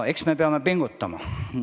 Eks me peame pingutama.